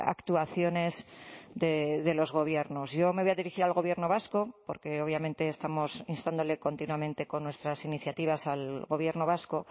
actuaciones de los gobiernos yo me voy a dirigir al gobierno vasco porque obviamente estamos instándole continuamente con nuestras iniciativas al gobierno vasco